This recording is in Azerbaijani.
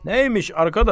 Nə imiş, qardaş?